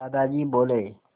दादाजी बोले